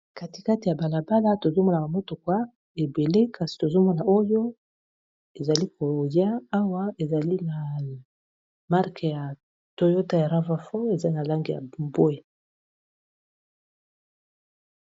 katikati ya balabala tozomonaka motokwa ebele kasi tozomona oyo ezali koya awa ezali na marke ya toyota ya rava fon eza na lange ya bwe